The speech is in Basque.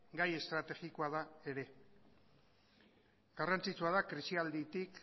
gai estrategikoa da ere garrantzitsua da krisialditik